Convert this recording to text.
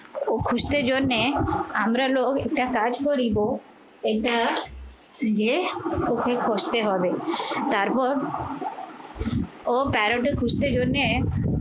ও খুঁজতে জন্যে আমরা লোক একটা কাজ করিব এটা যে ওকে করতে হবে তারপর তারপর ও parrot খুঁজতে জন্যে